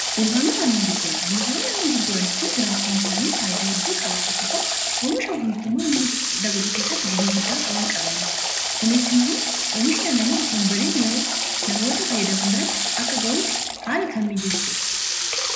dunkaanota annan gurguran dunkaanoon annan gurguran kun jiraachuun isaanii haayidaa hedduu qabaa tokkofaa omishaumyitummaa anna dabaluu keessatti gahee guddaa qabaan qabaniif kunis immoo oomishn annami asonbadeen yerootti namoota faayyadaman biratti akka ga'uuf haala kan miijeessuudha